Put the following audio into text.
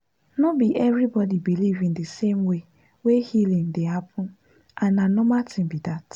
no be everybody believe in the same way wey healing dey happen and na normal thing be that.